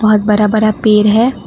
बहुत बरा बरा पेड़ है।